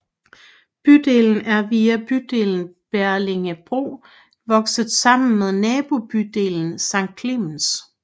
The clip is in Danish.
Bydelen er via bydelen Bellingebro vokset sammen med nabobyelen Sankt Klemens